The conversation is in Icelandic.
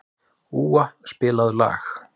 Úa, spilaðu lag.